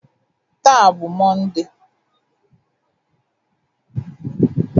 Taa bụ Mọnde.